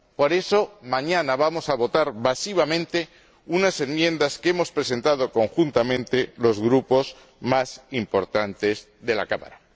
Por eso, mañana vamos a votar masivamente unas enmiendas que hemos presentado conjuntamente los grupos más importantes de la Cámara.